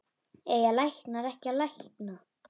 Eiga læknar ekki að lækna?